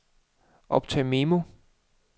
optag memo